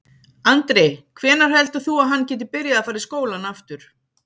Andri: Hvenær heldur þú að hann geti byrjað að fara í skólann aftur?